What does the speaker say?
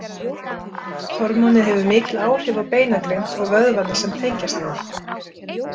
Hormónið hefur mikil áhrif á beinagrind og vöðvana sem tengjast henni.